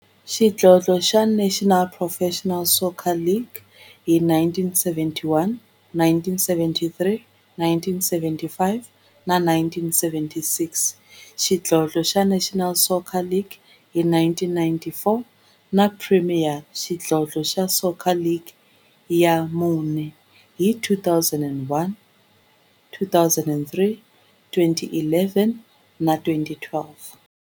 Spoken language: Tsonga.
Xidlodlo xa National Professional Soccer League hi 1971, 1973, 1975 na 1976, xidlodlo xa National Soccer League hi 1994, na Premier Xidlodlo xa Soccer League ka mune, hi 2001, 2003, 2011 na 2012.